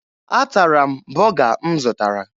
Atara m bọga m zụtara